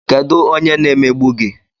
Kedụ onye na-emegbu gi?